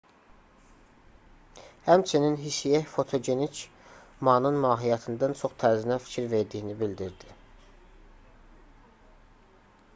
həmçinin hsieh fotogenik manın mahiyyətindən çox tərzinə fikir verdiyini bildirdi